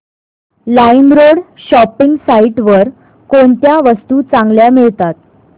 LimeRoad shopping site वर कोणत्या वस्तू चांगल्या मिळतात